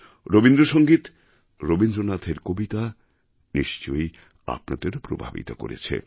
রবীন্দ্রসঙ্গীত রবীন্দ্রনাথের কবিতা নিশ্চয়ই আপনাদেরও প্রভাবিত করেছে